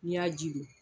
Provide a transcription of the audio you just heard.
N'i y'a ji don